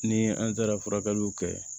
Ni an taara furakɛliw kɛ